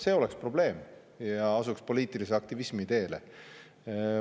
See oleks probleem ja siis asutaks poliitilise aktivismi teele.